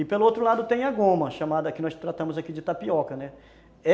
E pelo outro lado tem a goma, a chamada que nós tratamos aqui de tapioca, né?